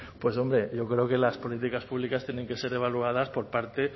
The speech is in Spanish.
pues hombre yo creo que las políticas públicas tienen que ser evaluadas por parte